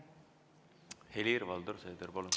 Helir-Valdor Seeder, palun!